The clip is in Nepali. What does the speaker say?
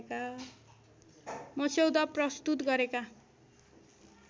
मस्यौदा प्रस्तुत गरेका